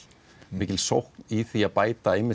mikil sókn í því að bæta